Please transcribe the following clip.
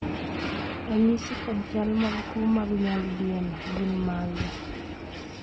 ranyisi kod chal mag tuo mag Nyaldiema gin mage?